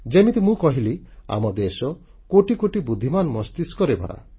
ଯେମିତି ମୁଁ କହିଲି ଆମ ଦେଶ କୋଟିକୋଟି ବୁଦ୍ଧିମାନ ମସ୍ତିଷ୍କରେ ଭରା